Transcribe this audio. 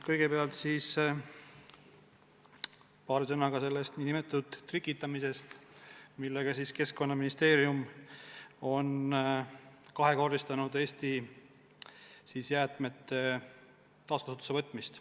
Kõigepealt siis paari sõnaga sellest nn trikitamisest, millega Keskkonnaministeerium on kahekordistanud Eesti jäätmete taaskasutusse võtmist.